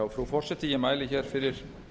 virðulegi forseti ég mæli hér fyrir